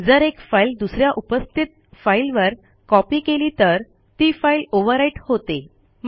जर एक फाईल दुस या उपस्थित फाईलवर कॉपी केली तर ती फाईल ओव्हरराईट होते